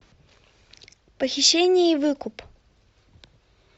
похищение и выкуп